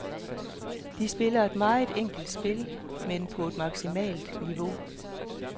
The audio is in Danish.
De spiller et meget enkelt spil, men på et maksimalt niveau.